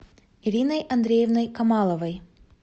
ириной андреевной камаловой